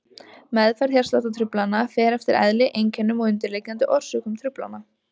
Meðferð hjartsláttartruflana fer eftir eðli, einkennum og undirliggjandi orsökum truflana.